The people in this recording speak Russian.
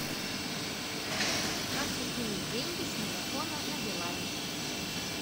как закинуть деньги с мегафона на билайн